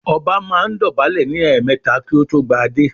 Ọba máa ń dọ̀bálẹ̀ ní ẹ̀ẹmẹ̀ta kí ó tó gba adé